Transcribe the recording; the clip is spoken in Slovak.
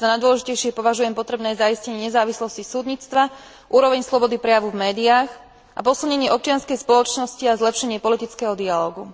Za najdôležitejšie považujem potrebné zaistenie nezávislosti súdnictva, úroveň slobody prejavu v médiách a posilnenie občianskej spoločnosti a zlepšenie politického dialógu.